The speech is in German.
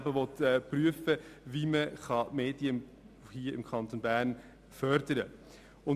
Er will prüfen, wie man die Medien im Kanton Bern fördern kann.